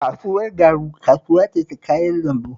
Kasuwar Garu kasuwa ce ta kayan lambu